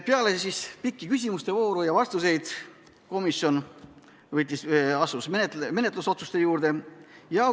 Peale pikka küsimuste ja vastuste vooru asus komisjon menetlusotsuseid tegema.